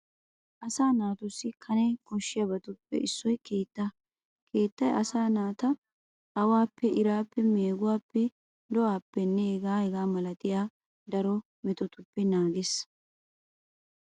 Asaa naatussi kane koshshiyabatu giddoppe issoy keettaa. Keettay asaa naata awaappe, iraappe, meeguwaappe, do"aappenne hegaanne hegaa milatiya daro metotupppe naagees.